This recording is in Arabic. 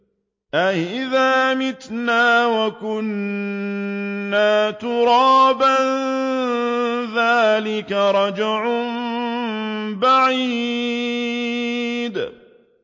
أَإِذَا مِتْنَا وَكُنَّا تُرَابًا ۖ ذَٰلِكَ رَجْعٌ بَعِيدٌ